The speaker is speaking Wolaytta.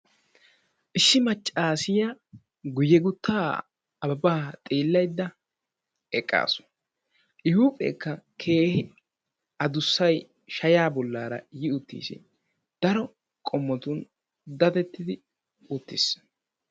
Issi maccassiyaa guyye gutta Ababba xeellaydda eqqasu. I huuphphekka addussay shaya bollara yi uttiis. Daro qommotun daddetidi uttiis.